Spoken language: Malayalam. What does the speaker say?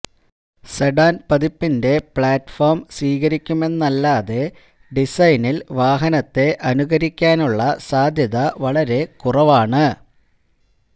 സെഡാന് പതിപ്പിന്റെ പ്ലാറ്റ്ഫോം സ്വീകരിക്കുമെന്നല്ലാതെ ഡിസൈനില് വാഹനത്തെ അനുകരിക്കാനുള്ള സാധ്യത വളരെ കുറവാണ്